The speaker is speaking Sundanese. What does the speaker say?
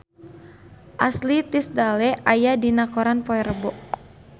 Ashley Tisdale aya dina koran poe Rebo